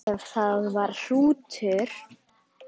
Ef það var hrútur.